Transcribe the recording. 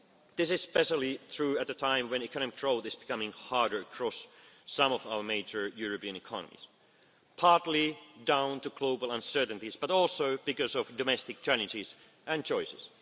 our Union. This is especially true at a time when economic growth is becoming harder across some of our major European economies, partly down to global uncertainties but also because of domestic challenges and